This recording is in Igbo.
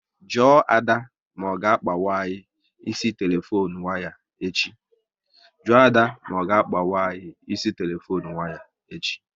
Jụọ Ada ma ọ ga akpanwu anyị ịsị telefone waya echi